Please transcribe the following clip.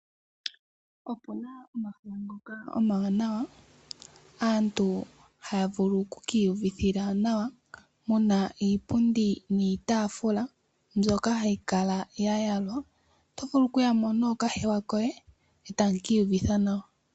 Opuna omahala ngoka omawanawa aantu hayavulu oku kiiyuvithila nawa, muna iipundi niitaafula mbyoka hayi kala ya yalwa. Oto vulu okuya mo nookahewa koye, e tamu kiiyuvitha nawa.